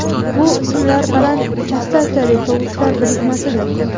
Bu ismlar baland chastotali tovushlar birikmasidir.